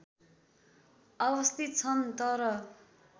अवस्थित छन् तर